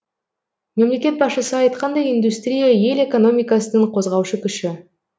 мемлекет басшысы айтқандай индустрия ел экономикасының қозғаушы күші